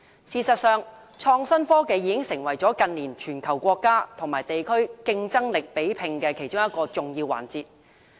事實上，創新科技已成為近年全球國家和地區競爭力比拼的其中一個重要環節。